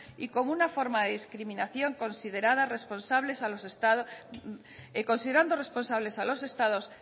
y como una forma de discriminación considerando responsable a los estados